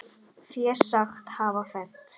Fé sagt hafa fennt.